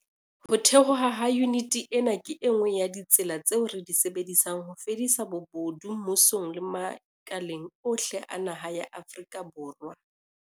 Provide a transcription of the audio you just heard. Ho thehwa ha yuniti ena ke e nngwe ya ditsela tseo re di sebedisang ho fedisa bobodu mmusong le makaleng ohle a naha ya Afrika Borwa.